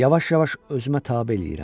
Yavaş-yavaş özümə tabe eləyirəm.